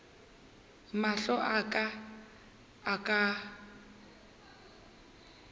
mahlo a ka a ka